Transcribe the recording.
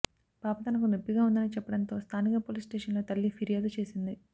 పాప తనకు నొప్పిగా ఉందని చెప్పడంతో స్థానిక పోలీస్ స్టేషన్ లో తల్లి ఫిర్యాదు చేసింది